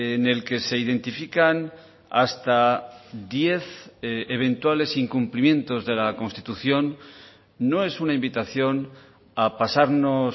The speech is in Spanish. en el que se identifican hasta diez eventuales incumplimientos de la constitución no es una invitación a pasarnos